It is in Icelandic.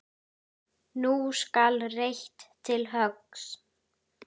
Nú skal reitt til höggs.